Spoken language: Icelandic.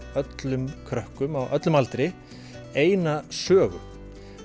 öllum krökkum á öllum aldri eina sögu